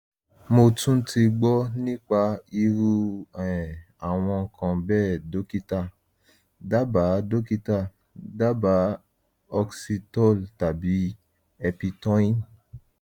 mo tún ti gbọ́ nípa irú um àwọn nǹkan bẹ́ẹ̀ dókítà dábàá dókítà dábàá oxetol tàbí eptoin